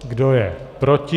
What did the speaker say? Kdo je proti?